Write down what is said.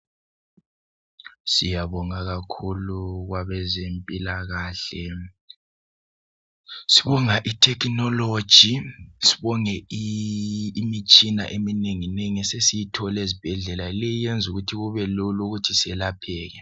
Siyabonga kakhulu kwabezempilakahle. Sibonga i"technology" ,sibonge imitshina eminengi nengi esesiyithola ezibhedlela. Leyi yenza ukuthi kubelula ukuthi selapheke.